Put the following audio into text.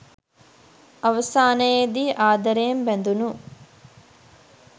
අවසානයේදී ආදරයෙන් බැඳුණු